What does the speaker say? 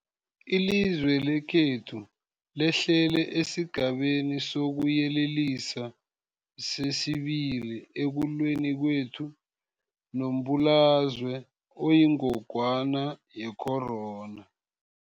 Ilizwe lekhethu lehlele esiGabeni sokuYelelisa sesi-2 ekulweni kwethu nombulalazwe oyingogwana ye-corona.